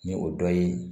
Ni o dɔ ye